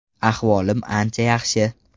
Ahvolim ancha yaxshi.